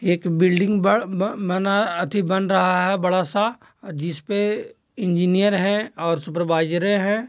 एक बिल्डिंग ब-ब-बना अथी बन रहा है बड़ा-सा जिसपे इंजीनियर है और सुपरवाईजरे है।